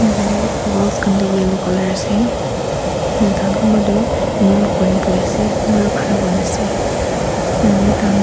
ena kuine walls khan du yellow color ase tai khan kumba doh kneel kuri na buhi ase kumba doh khara kuri na ase ene hui na tai khan--